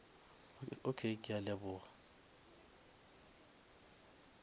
okay ke a leboga